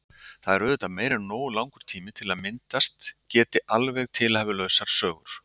Það er auðvitað meira en nógu langur tími til að myndast geti alveg tilhæfulausar sögur.